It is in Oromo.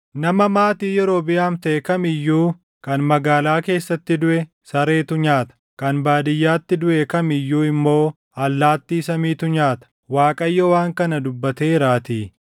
Nama maatii Yerobiʼaam taʼe kam iyyuu kan magaalaa keessatti duʼe sareetu nyaata; kan baadiyyaatti duʼe kam iyyuu immoo allaattii samiitu nyaata. Waaqayyo waan kana dubbateeraatii!’